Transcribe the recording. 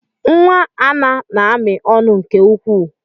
Nwa Anna na-amị ọnụ nke ukwuu.